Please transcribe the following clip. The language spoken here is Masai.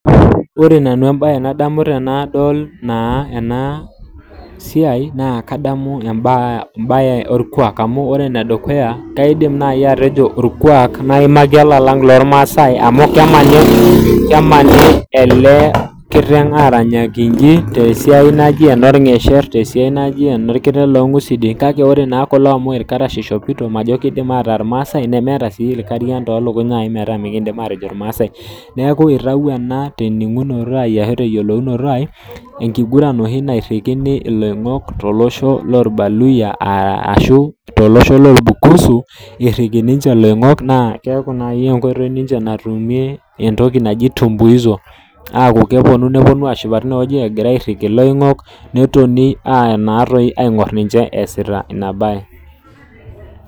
Wore nanu embaye nadamu tenadol naa ena siai, naa kadamu embaye orkuak amu wore ene dukuya, kaidim naai atejo orkuak naimaki olalang lormasae amu kemani ele kiteng aaranyaki iji tesiai naji enorngesherr, tesiai naji enorkiteng loongusidin. Kake wore naa kulo amu ilkarash ishopito, majo kiidim aataa irmaasae, nemeeta sii irkarian toolukuny naai metaa mikiindim atejo irmaasae. Neeku itayiio ena teningunoto ai ashu teyiolounoto ai, enkiguran oshi nairikini iloingok tolosho loorbaluyia aashu tolosho loorbakusu, irriki ninche iloingok naa keaku nai enkoitoi ninche natumie entoki naji tumbuizo. Aaku keponu neponu aashipa teniewoji ekira airiki iloingok, netoni aayanatoi aingorr ninche easita ina baye.